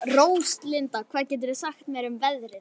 Róslinda, hvað geturðu sagt mér um veðrið?